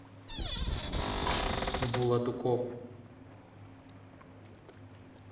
булатуков